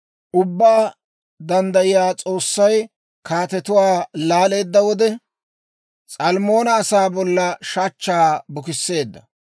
Ubbaa Danddayiyaa S'oossay, kaatetuwaa laaleedda wode, S'almmoona asaa bolla shachchaa bukisseedda.